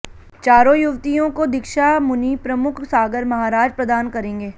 चारों युवतियों को दीक्षा मुनि प्रमुख सागर महाराज प्रदान करेंगे